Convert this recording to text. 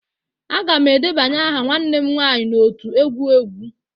Aga m edebanye aha nwanne m nwaanyị n'otu egwu egwu